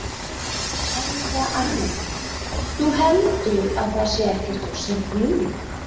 Helga Arnardóttir: Þú heldur að það sé ekkert of seint núna?